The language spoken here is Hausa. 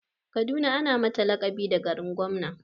Kaduna ana mata laƙabi da garin gwamna.